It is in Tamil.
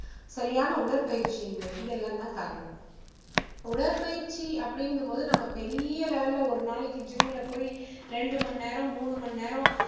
சரியான உடற்பயிற்சி இன்மை இது எல்லாம் தான் காரணம். உடற்பயிற்சி அப்படிங்கும் போது நம்ம பெரிய level ல ஒரு நாளைக்கு gym ல போய் ரெண்டு மணி நேரம் மூணு மணி நேரம்